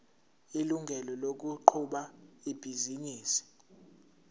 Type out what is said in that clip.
ilungelo lokuqhuba ibhizinisi